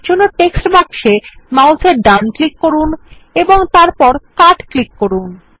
এরজন্য টেক্সট বাক্সে মাউসের ডান ক্লিক করুন এবং তারপর কাট ক্লিক করুন